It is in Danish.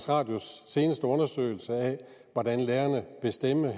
radios seneste undersøgelse af hvordan lærerne vil stemme